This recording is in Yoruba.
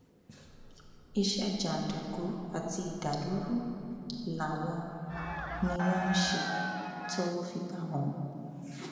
iṣẹ jàǹdùkú àti ìdàlúrú làwọn ni wọn ń ṣe tọwọ fi bá wọn